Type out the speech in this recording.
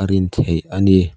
a rin theih a ni.